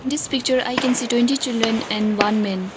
This picture I can see twenty children and one man.